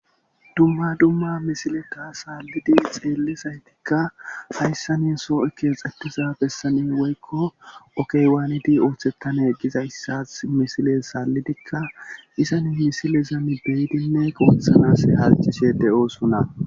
dumma dumma misileta saallidi xeelli saytikka hayssani soo7o keexettiza bessani woykko okeywaanidi ooththetane gizayssas misile saallidikka isani misilezami deyidinne qoothanas harcishe de7oosunna